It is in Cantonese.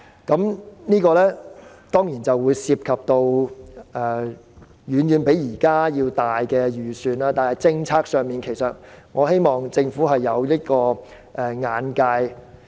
當然，當中涉及的預算一定遠比現在多，但政策上，我希望政府有這樣的眼界。